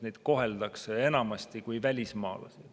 Neid koheldakse enamasti kui välismaalasi.